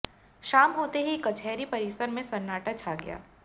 शाम होते ही कचहरी परिसर में सन्नाटा छा गया